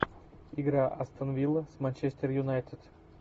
игра астон вилла с манчестер юнайтед